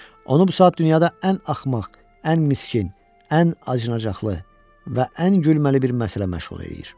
Onu bu saat dünyada ən axmaq, ən miskin, ən acınacaqlı və ən gülməli bir məsələ məşğul eləyir.